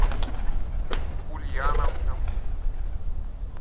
ульяновском